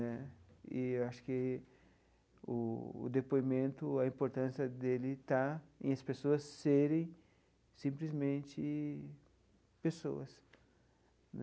Né e eu acho que o o depoimento, a importância dele está em as pessoas serem simplesmente pessoas.